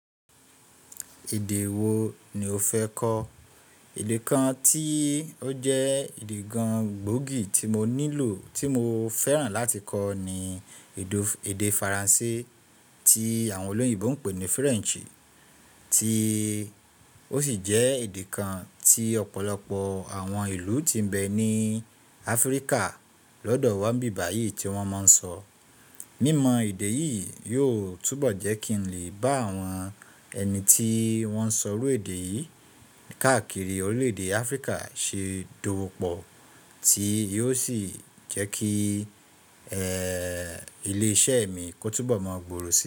Èdè wo ni o fẹ́ kọ́? Ede kan tí ó jẹ́ èdè kan gbòógì tí mo nílò tí mo fẹ́ràn láti kọ́ ni èdè Faransé tí àwọn olóyèbo ń pè ní Frenchi tí ó sì jẹ́ èdè kan tí ọ̀pọ̀lọpọ̀ àwọn ìlú tí ń bẹ ní Áfríkà lọ́dọ̀ wá ní biba yìí tí wọ́n máa ń sọ. Mímọ èdè yìí yóò túbọ̀ jẹ́ kí n lè bá àwọn ẹni tí wọ́n ń sọ rú èdè yìí káàkiri orílẹ̀ èdè Áfríkà ṣe dowọ́pọ̀ tí yóò sì jẹ́ kí ilé iṣẹ́ mi kó túbọ̀ máa gbòòrò si.